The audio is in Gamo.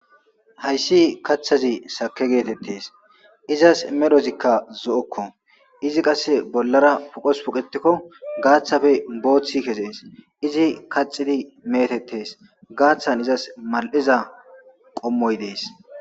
hayssi kathazi sake geetettes izas medhozikka zo7okko izi qasse bollara poqos puqetekko gaaththafe booththi kezees izi kaxidi meetettes gaaththan izas mal7iza qommoy dees